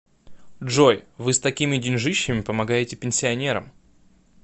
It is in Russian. джой вы с такими деньжищами помогаете пенсионерам